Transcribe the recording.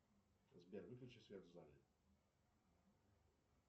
сбер выключи свет в зале